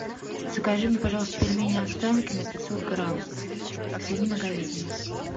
закажи мне пожалуйста пельмени останкино пятьсот грамм свинина говядина